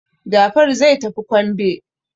Jafaru zai tafi kwambe.